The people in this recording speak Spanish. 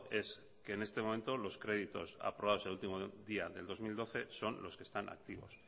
es que en este momento los créditos aprobados el último día del dos mil doce son los que están activos